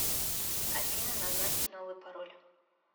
афина назначить новый пароль